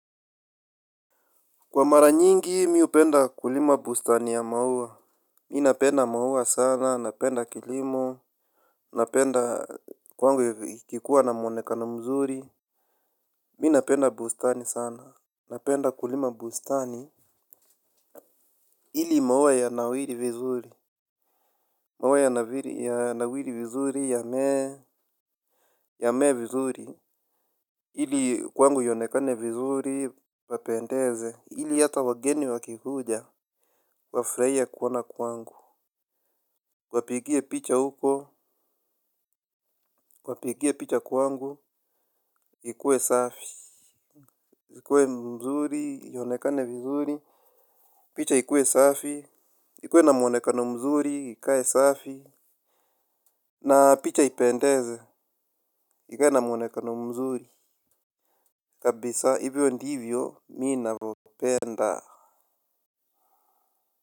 Kwa mara nyingi mi hupenda kulima bustani ya maua. Mi napenda maua sana, napenda kilimo, napenda kwangu ikikuwa na mwonekano mzuri. Mi napenda bustani sana, napenda kulima bustani ili maua yanawiri vizuri, maua yanawiri vizuri, yamee vizuri ili kwangu ionekane vizuri, papendeze ili hata wageni wakikuja wafurahie kuona kwangu wapigie picha huko, wapigie picha kwangu, ikuwe safi zikuwe mzuri, ionekane vizuri, picha ikuwe safi, ikuwe na mwonekano mzuri, ikae safi. Na picha ipendeze, ikae na mwonekano mzuri, kabisa, hivyo ndivyo, mi navopenda.